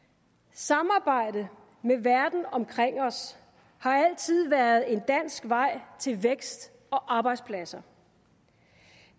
samarbejde med verden omkring os har altid været en dansk vej til vækst og arbejdspladser